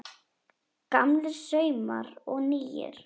Gamlir saumar og nýir